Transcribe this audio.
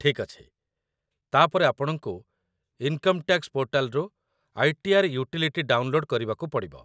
ଠିକ୍ ଅଛି, ତା'ପରେ ଆପଣଙ୍କୁ ଇନକମ୍ ଟ୍ୟାକ୍ସ ପୋର୍ଟାଲରୁ ଆଇ.ଟି.ଆର୍. ୟୁଟିଲିଟି ଡାଉନଲୋଡ୍ କରିବାକୁ ପଡ଼ିବ